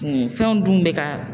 Kun fɛnw dun be ka